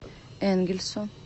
энгельсу